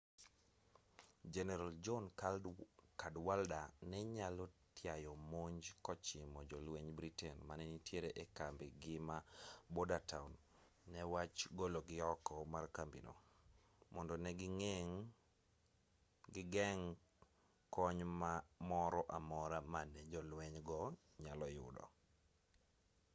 jeneral john cadwalder ne nyalo tiao monj kochimo jolwenj britain mane nitiere e kambi gi ma bordertown ne wach gologi oko mar kambi no mondo ne gigeng' kony moro amora mane jolwenj go nyalo udo